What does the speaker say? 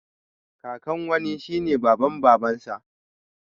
Kakan wani shine baban babansa